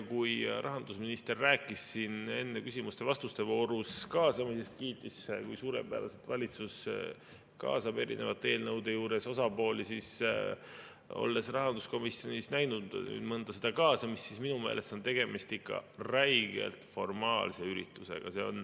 Kui rahandusminister rääkis siin enne küsimuste-vastuste voorus kaasamisest, kiitis, kui suurepäraselt valitsus kaasab erinevate eelnõude juures osapooli, siis olles rahanduskomisjonis näinud mõnda sellist kaasamist, on minu meelest tegemist ikka räigelt formaalse üritusega.